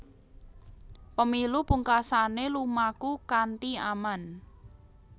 Pemilu pungkasané lumaku kanthi aman